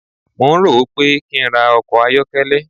Mò ń rò ó pé kí n ra ọkọ̀ ayọ́kẹ́lẹ́.